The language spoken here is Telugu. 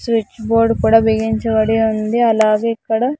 స్విచ్ బోర్డ్ కూడా బిగించబడి ఉంది అలాగే ఇక్కడ.